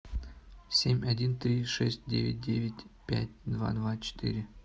семь один три шесть девять девять пять два два четыре